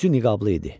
Üzü niqablı idi.